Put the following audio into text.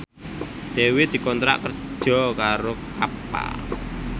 Dewi dikontrak kerja karo Kappa